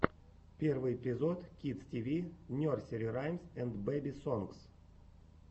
первый эпизод кидс ти ви нерсери раймс энд бэби сонгс